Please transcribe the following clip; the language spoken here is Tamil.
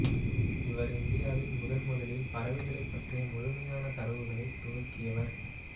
இவர் இந்தியாவில் முதன்முதலில் பறவைகளைப் பற்றிய முழுமையான தரவுகளைத் துவக்கியவர்